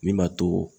Min b'a to